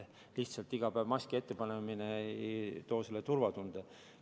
Lihtsalt iga päev maski ettepanemine ei loo turvatunnet.